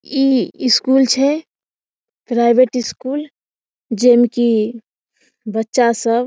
इ स्कूल छै private school जे मे की बच्चा सब --